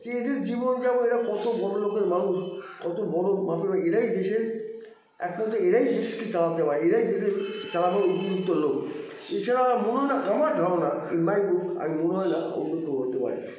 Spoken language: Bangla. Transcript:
এদের জীবন যাপন এরা কতো বড়ো লোকের মানুষ কতো বড়ো মাপের এরাই দেশের একমাত্র এরাই দেশকে চালাতে পারে এরাই দেশের চালানোর উপযুক্ত লোক এছাড়া মনে হয়না আমার ধারণা in my look আমার মনে হয়না অন্য কেউ করতে পারে